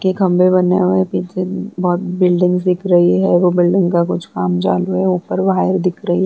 के खम्भे बने हुए हैं। बोहोत बिल्डिंग्स दिख रही हैं और वो बिल्डिंग का कुछ काम है। ऊपर वायर दिख रही --